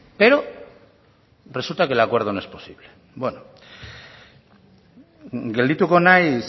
pero resulta que el acuerdo no es posible beno geldituko naiz